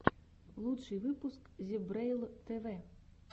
лучший выпуск зебрэйл тв